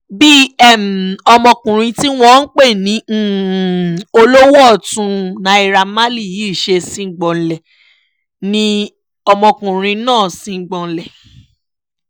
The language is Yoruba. bí ọmọkùnrin tí wọ́n pè ní olówó ọ̀tún naira marley yìí ṣe sígbọ̀nlé ni ọmọkùnrin náà sígbọ̀nlé